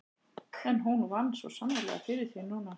En hún vann svo sannarlega fyrir því núna.